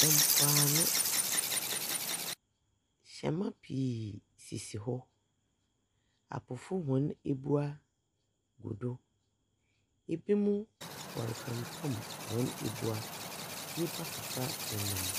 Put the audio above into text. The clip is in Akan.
Mpoano. Hyɛma pii sisi hɔ. Apofo hɔn ebua gu do. Ebinom wɔrepempam wɔn ebua. Nnipa kakra nena .